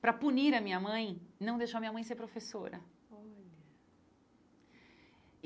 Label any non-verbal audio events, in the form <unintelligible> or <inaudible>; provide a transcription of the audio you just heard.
para punir a minha mãe, não deixou a minha mãe ser professora. <unintelligible>